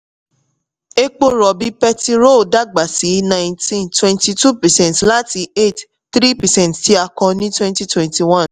epo rọ̀bì petirò dàgbà sí nineteen twenty two percent láti eight point three percent tí a kọ ní twenty twenty one.